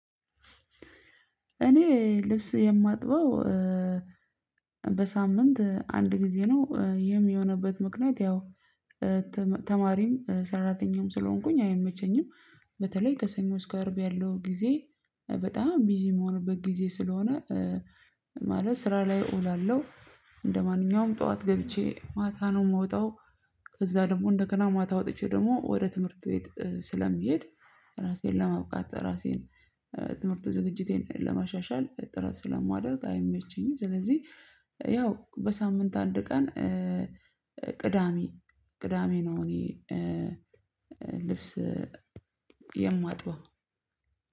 እኔ ልብስ የማጥበው በሳምንት አንድ ጊዜ ነው። ይህም የሆንበት ምክንያት ያው ተማሪም ሰራተኛም ስለሆንኩኝ አይመቸኝም በተለይ ከሰኞ እስከ አርብ ያለው ጊዜ በጣም ቢዚ የምሆንበት ጊዜ ስለሆነ ማለት ስራ ላይ እውላለሁ። እንደማንኛውም ጠዋት ገብቼ ማታ ነው የምወጣው ከዛ ደግሞ እንደገና ማታ ወጥቼ ደግሞ ወደ ትምህርት ቤት ስለምሄድ ራሴን ለማብቃት ራሴን ትምህርት ዝግጅቴን ለማሻሻል ጥራት ስለማደርግ አይመቸኝም። ስለዚህ ያው በሳምንት አንድ ቀን ቅዳሜ ቅዳሜ ነው። እኔ ልብስ የማጥበው